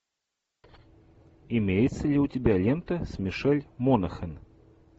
имеется ли у тебя лента с мишель монахэн